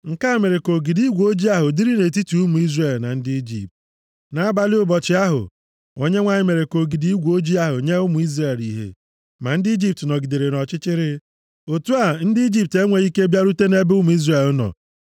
Nke a mere ka ogidi igwe ojii ahụ dịrị nʼetiti ụmụ Izrel na ndị Ijipt. Nʼabalị ụbọchị ahụ, Onyenwe anyị mere ka ogidi igwe ojii ahụ nye ụmụ Izrel ìhè, ma ndị Ijipt nọgidere nʼọchịchịrị. Otu a, ndị Ijipt enweghị ike bịarute nʼebe ụmụ Izrel nọ.